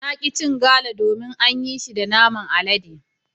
Na ki cin Gala domin an yi shi da naman alade.